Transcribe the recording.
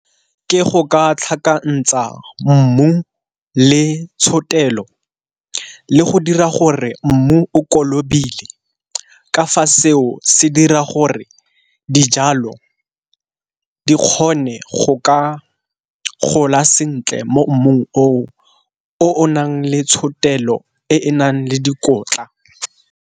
Ke go ka tlhakantsa mmu le tshotelo le go dira gore mmu o kolobile ka fa seo se dira gore dijalo di kgone go ka gola sentle mo mmung o o nang le tshotelo e e nang le dikotla.